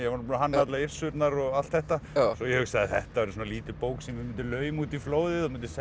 var búinn að hanna allar Yrsurnar og allt þetta ég hugsaði þetta verður lítil bók sem ég mundi lauma út í flóðið og mundi